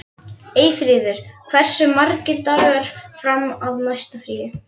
Eyfríður, hversu margir dagar fram að næsta fríi?